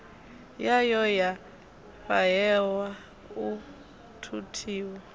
yayo ya fhahehwa u thuthiwa